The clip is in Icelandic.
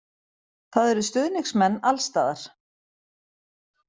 Það eru stuðningsmenn alls staðar.